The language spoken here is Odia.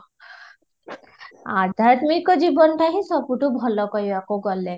ଆଧ୍ୟାତ୍ମିକ ଜୀବନ ଟା ହିଁ ସବୁଠୁ ଭଲ କହିବାକୁ ଗଲେ